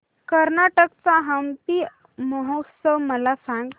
कर्नाटक चा हम्पी महोत्सव मला सांग